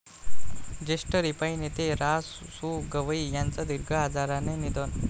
ज्येष्ठ रिपाइं नेते रा.सु.गवई यांचं दीर्घ आजारानं निधन